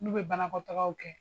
N'u be banakɔ tagaw kɛ